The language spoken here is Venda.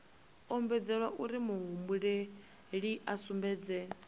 ombedzelwa uri muhumbeli a sumbedze